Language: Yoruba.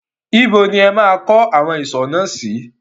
Ibo ni ẹ máa kọ́ awon ìsò náà sí?